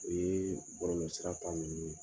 O ye bɔlɔlɔ sira ta minnu ye.